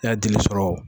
I ya dili sɔrɔ